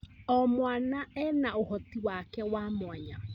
O mwana ena ũhoti wake wa mwanya.